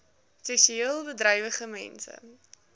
seksueel bedrywige mense